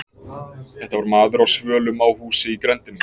Þetta var maður á svölum á húsi í grenndinni.